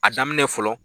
A daminɛ fɔlɔ